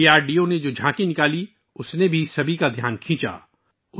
D R D O سے تعلق رکھنے والی جھانکی نے بھی سب کی توجہ اپنی طرف مبذول کروائی